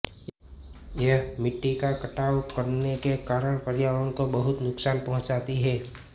यह मिट्टी का कटाव करने के कारण पर्यावरण को बहुत नुकसान पहुचांती है